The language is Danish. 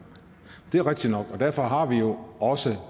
det er rigtigt nok og derfor har vi jo også